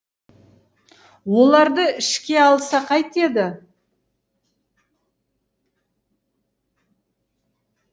оларды ішке алса қайтеді